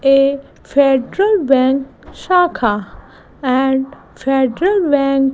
a federal bank shaka and federal bank --